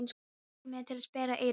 Fékk mig til að sperra eyru.